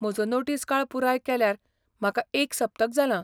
म्हजो नोटीस काळ पुराय केल्यार म्हाका एक सप्तक जालां.